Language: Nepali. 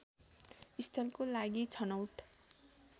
स्थलको लागि छनौट